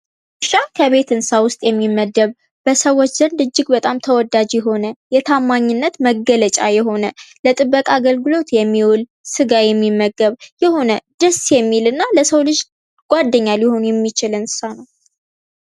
ውሻ ከቤት እንስሳ ውስጥ የሚመደብ ሰዎች ዘንድ እጅግ በጣም ተወዳጅ የሆነ ፤የታማኝነት መገለጫ የሆነ፤ ጥበቃ አገልግሎት የሚውል፤ ስጋ የሚመገብ የሆነ ደስ የሚልና የሰው ልጅ ጓደኛ ሊሆኑ የሚችል እንስሳ ነው።